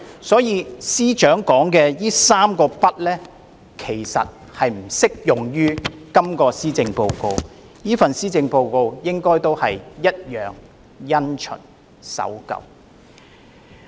所以，司長所說的"三個不"並不適用於這份施政報告。這份施政報告同樣因循及守舊。